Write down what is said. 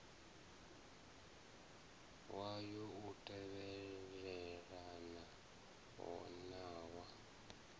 wayo u tevhelelana na wa